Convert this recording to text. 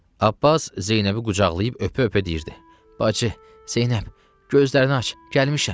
Abbas Zeynəbi qucaqlayıb öpə-öpə deyirdi: Bacı, Zeynəb, gözlərini aç, gəlmişəm.